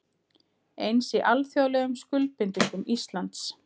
Eins í alþjóðlegum skuldbindingum Íslands